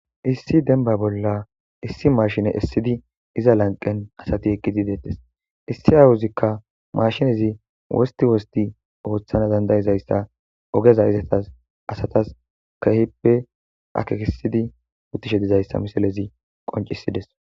Issi dembba bolla issi mashshine essidi iza lanqen asati eqqidi bettes issi awozikka mashshinezi wosti wosti oththana dandaizayssa ogeza izetas asatas kehippe akekkisidi besishe dizayssa missilezi qonccisides.